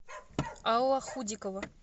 алла худикова